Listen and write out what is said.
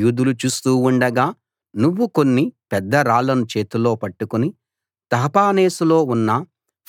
యూదులు చూస్తూ ఉండగా నువ్వు కొన్ని పెద్ద రాళ్ళను చేతిలో పట్టుకుని తహపనేసులో ఉన్న